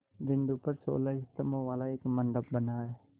बिंदु पर सोलह स्तंभों वाला एक मंडप बना है